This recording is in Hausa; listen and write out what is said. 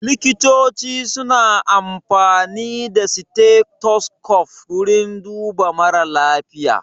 Likitoci su na amfani da stethoscope wurin duba mara lafiya